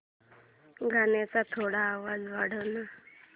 गाण्याचा थोडा आवाज वाढव ना